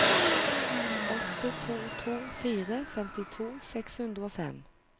åtte to to fire femtito seks hundre og fem